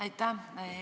Aitäh!